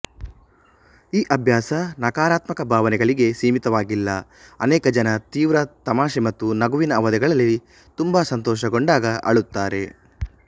ಈ ಅಭ್ಯಾಸ ನಕಾರಾತ್ಮಕ ಭಾವನೆಗಳಿಗೆ ಸೀಮಿತವಾಗಿಲ್ಲ ಅನೇಕ ಜನ ತೀವ್ರ ತಮಾಷೆ ಮತ್ತು ನಗುವಿನ ಅವಧಿಗಳಲ್ಲಿ ತುಂಬಾ ಸಂತೋಷಗೊಂಡಾಗ ಅಳುತ್ತಾರೆ